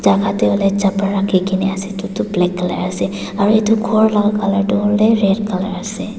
bahar tey huile chapal rakhigena ase itutu black color ase aro itu ghor laga color tu red color ase.